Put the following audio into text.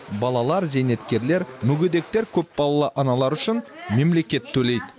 балалар зейнеткерлер мүгедектер көпбалалы аналар үшін мемлекет төлейді